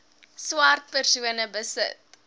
swart persone besit